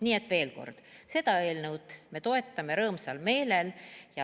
Nii et veel kord: seda eelnõu me toetame rõõmsal meelel.